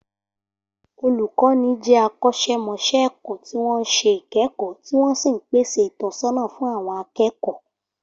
Olùkọ́ni jẹ́ akọ́ṣẹ́mọṣẹ́ ẹ̀kọ́ tí wọ́n ń ṣe ìkẹ́kọ̀ọ́ tí wọ́n sì ń pèsè ìtọ́sọ́nà fún àwọn akẹ́kọ̀ọ